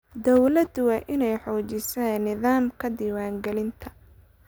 Dawladdu waa inay xoojisaa nidaamka diiwaangelinta.